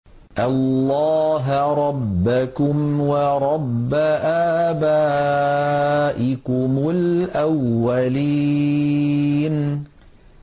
اللَّهَ رَبَّكُمْ وَرَبَّ آبَائِكُمُ الْأَوَّلِينَ